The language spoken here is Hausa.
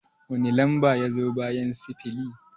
Wani lamba ya zo bayan sifili?